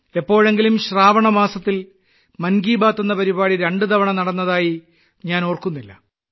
എപ്പോഴെങ്കിലും ശ്രാവണ മാസത്തിൽ മൻ കി ബാത്ത് എന്ന പരിപാടി രണ്ടുതവണ നടന്നതായി ഞാൻ ഓർക്കുന്നില്ല